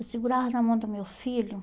Eu segurava na mão do meu filho.